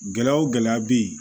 Gɛlɛya o gɛlɛya bɛ yen